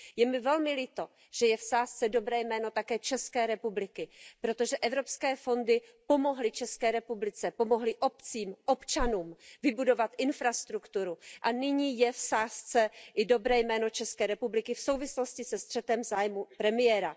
Je mi velmi líto, že je v sázce dobré jméno také České republiky, protože evropské fondy pomohly České republice, pomohly obcím, občanům, pomohly vybudovat infrastrukturu a nyní je v sázce i dobré jméno České republiky v souvislosti se střetem zájmů premiéra.